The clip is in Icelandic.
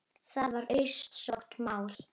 Það var auðsótt mál.